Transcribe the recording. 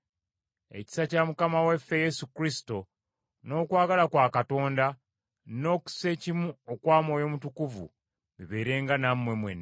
Ekisa kya Mukama waffe Yesu Kristo, n’okwagala kwa Katonda, n’okussekimu okwa Mwoyo Mutukuvu, bibeerenga nammwe mwenna.